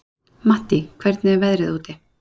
Mattý, hvernig er veðrið úti?